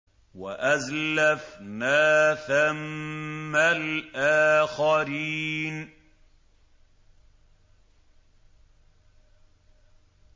وَأَزْلَفْنَا ثَمَّ الْآخَرِينَ